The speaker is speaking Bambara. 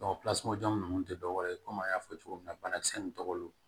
pilasijalan ninnu te dɔ wɛrɛ ye kɔmi an y'a fɔ cogo min na banakisɛ nunnu tɔgɔ don